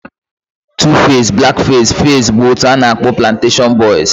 Tuface, blackface, faze bụ otu a na-akpọ planashion boiz